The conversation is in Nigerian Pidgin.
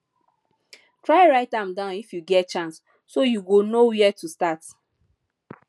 try write am down if yu get chance so yu go no wia to start